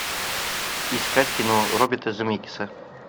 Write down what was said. искать кино роберта земекиса